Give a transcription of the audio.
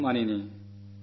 വളരെ വളരെ നന്ദി